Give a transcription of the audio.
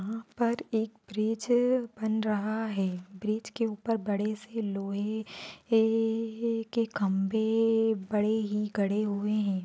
यहां पर एक ब्रिज बन रहा है ब्रिज के ऊपर बड़े से लोहे के-ए-के खंभे-ए भी बड़े ही गड़े हुए हैं।